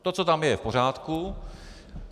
To, co tam je, je v pořádku.